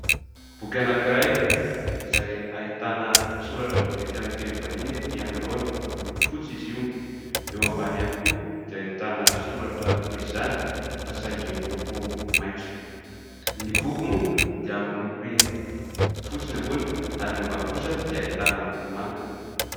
Boky anankiray izay ahitana soratra vaventy amin'ny teny vahiny ety anoloana, miloko fotsy izy io ; eo ambany ihany koa dia ahitana soratra toy izany fa saingy miloko maitso. Ny boky moa dia miloko fotsy ny ambony ary ny ambany kosa dia ahitana loko manga.